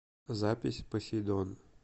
запись посейдон